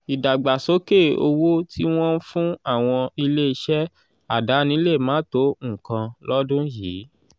ìdàgbàsókè owó tí wọ́n ń fún àwọn ilé-iṣẹ́ àdáni lè máà tó nǹkan lọ́dún yìí.